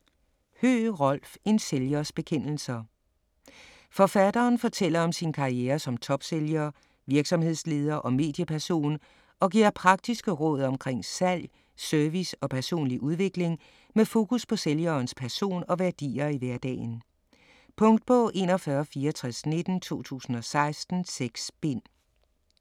Høegh, Rolf: En sælgers bekendelser Forfatteren fortæller om sin karriere som topsælger, virksomhedsleder og medieperson, og giver praktiske råd omkring salg, service og personlig udvikling med fokus på sælgerens person og værdier i hverdagen. Punktbog 416419 2016. 6 bind.